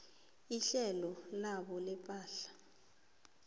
ihlelo labo lepahla